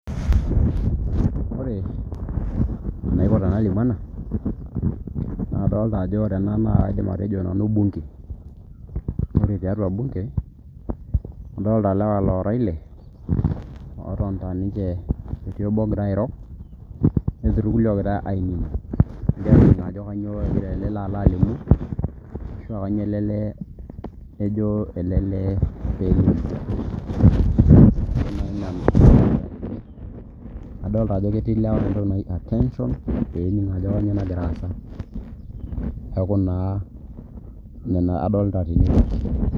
Ore enaiko tenalimu ena naa adoolta ajo ore ena naa kaidim atejo nanu bunge ore tiatua bunge adoolta ilewa loora ile ootonita ninche etii obo ogira airo netii irkulie oogira ainining ajo kanyioo egira ele lee alo alimu ashua kanyioo ejo elelee peelimu adolita ajo ketii ilewa entoki naji attention peening ajo kanyioo nagira aasa neeku naa nena adolita tene wueji.